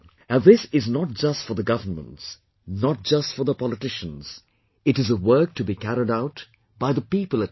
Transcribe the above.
And this is not just for the governments, not just for the politicians, it is a work to be carried out by the people at large